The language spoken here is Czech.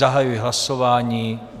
Zahajuji hlasování.